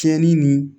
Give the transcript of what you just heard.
Tiɲɛni ni